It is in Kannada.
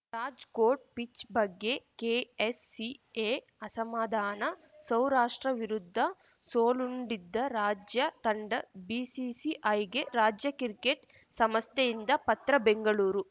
ರಾಜ್‌ಕೋಟ್‌ ಪಿಚ್‌ ಬಗ್ಗೆ ಕೆಎಸ್‌ಸಿಎ ಅಸಮಾಧಾನ ಸೌರಾಷ್ಟ್ರ ವಿರುದ್ಧ ಸೋಲುಂಡಿದ್ದ ರಾಜ್ಯ ತಂಡ ಬಿಸಿಸಿಐಗೆ ರಾಜ್ಯ ಕ್ರಿಕೆಟ್‌ ಸಮಸ್ಥೆಯಿಂದ ಪತ್ರ ಬೆಂಗಳೂರು